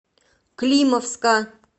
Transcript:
климовска